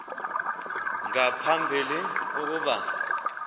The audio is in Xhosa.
nga phambili ukuba